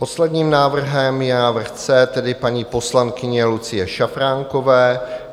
Posledním návrhem je návrh C, tedy paní poslankyně Lucie Šafránkové.